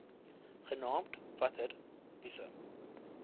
genaamd water wise